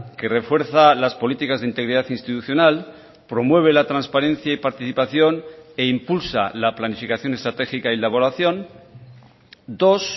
que refuerza las políticas de integridad institucional promueve la transparencia y participación e impulsa la planificación estratégica y elaboración dos